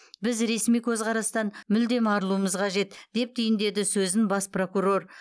біз ресми көзқарастан мүлдем арылуымыз қажет деп түйіндеді сөзін бас прокурор